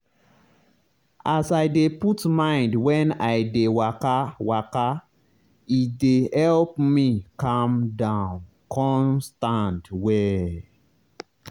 as i dey put mind when i dey waka waka e dey help me calm down con stand well.